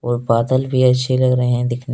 और बादल भी अच्छे लग रहे हैं दिखने में ।